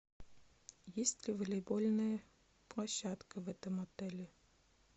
есть ли волейбольная площадка в этом отеле